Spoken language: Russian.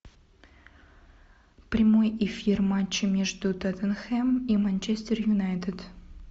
прямой эфир матча между тоттенхэм и манчестер юнайтед